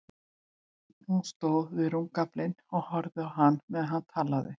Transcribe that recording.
Hún stóð við rúmgaflinn og horfði á hann meðan hann talaði.